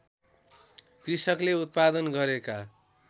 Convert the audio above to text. कृषकले उत्पादन गरेका